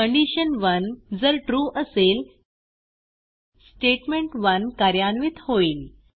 कंडिशन1 जर ट्रू असेल स्टेटमेंट1 कार्यान्वित होईल